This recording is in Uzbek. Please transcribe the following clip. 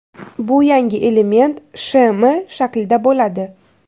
Bu yangi element SHM shaklida bo‘ladi.